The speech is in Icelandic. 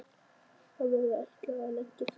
Hann hafði ætlað að leggja sig andar